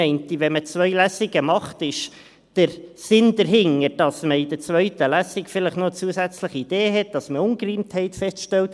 Ich denke, wenn man zwei Lesungen macht, ist der Sinn dahinter, dass man in der zweiten Lesung vielleicht noch eine zusätzliche Idee hat, dass man Ungereimtheiten feststellt.